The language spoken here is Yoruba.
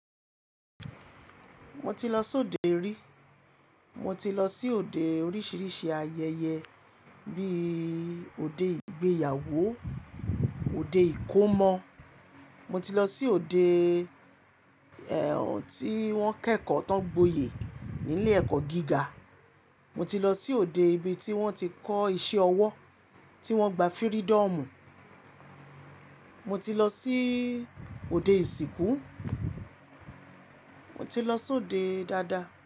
Mo ti lọ sóde rí. Mo ti lọ sí òde oríṣiríṣi ayẹyẹ bí i òde ìgbéyàwó, òde ìkómọ, mo ti lọ sí òde ẹ tí wọ́n kẹ́kọ̀ọ́ tán gboyè ní ilé ẹ̀kọ́ gíga, mo ti lọ sí òde ibi tí wọ́n ti ń kọ́ ìṣe ọwọ́ tí wọ́n gba fírídọ̀mù, mo ti lọ sí òde ìsìnkú, mo ti lọ sóde dáadáa.